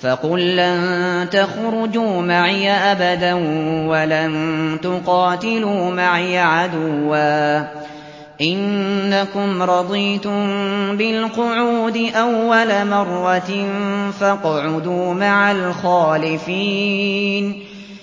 فَقُل لَّن تَخْرُجُوا مَعِيَ أَبَدًا وَلَن تُقَاتِلُوا مَعِيَ عَدُوًّا ۖ إِنَّكُمْ رَضِيتُم بِالْقُعُودِ أَوَّلَ مَرَّةٍ فَاقْعُدُوا مَعَ الْخَالِفِينَ